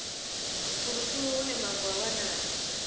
fulufulu hune mavu a wanala